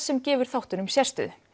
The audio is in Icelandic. sem gefur þáttunum sérstöðu